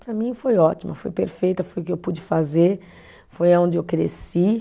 Para mim foi ótima, foi perfeita, foi o que eu pude fazer, foi aonde eu cresci.